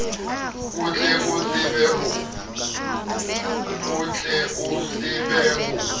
o tle o tsebe ho